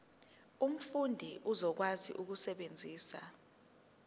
umfundi uzokwazi ukusebenzisa